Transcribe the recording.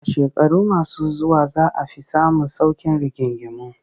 A shekaru masu zuwa za a fi samun sauƙin rigingimu